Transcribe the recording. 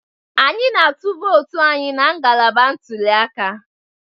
Anyị na-atụ vootu anyị na ngalaba ntuliaka.